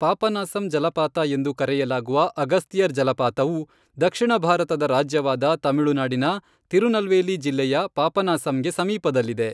ಪಾಪನಾಸಂ ಜಲಪಾತ ಎಂದೂ ಕರೆಯಲಾಗುವ ಅಗಸ್ತಿಯರ್ ಜಲಪಾತವು, ದಕ್ಷಿಣ ಭಾರತದ ರಾಜ್ಯವಾದ ತಮಿಳುನಾಡಿನ ತಿರುನಲ್ವೇಲಿ ಜಿಲ್ಲೆಯ ಪಾಪನಾಸಂಗೆ ಸಮೀಪದಲ್ಲಿದೆ.